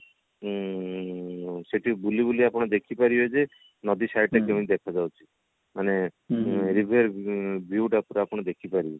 ଉଁ ସେଠି ବୁଲି ବୁଲି ଆପଣ ଦେଖି ପାରିବେ ଯେ ନଦୀ site ରେ କେମତି ଦେଖା ଯାଉଛି ମାନେ ନିଜେ view ଟା ପୁରା ଆପଣ ଦେଖି ପାରିବେ